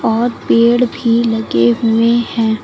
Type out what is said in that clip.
और पेड़ भी लगे हुए हैं।